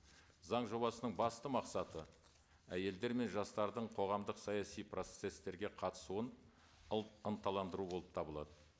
заң жобасының басты мақсаты әйелдер мен жастардың қоғамдық саяси процесстерге қатысуын ынталандыру болып табылады